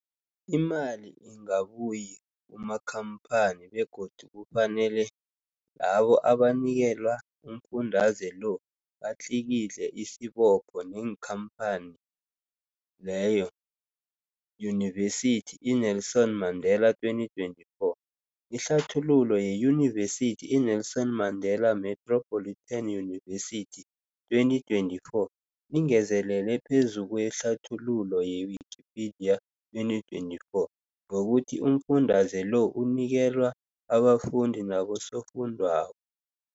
Imali ingabuyi kumakhamphani begodu kufanele labo abanikelwa umfundaze lo batlikitliki isibopho neenkhamphani leyo, Yunivesity i-Nelson Mandela 2024. Ihlathululo yeYunivesithi i-Nelson Mandela Metropolitan University, 2024, ingezelele phezu kwehlathululo ye-Wikipedia, 2024, ngokuthi umfundaze lo unikelwa abafundi nabosofundwakgho.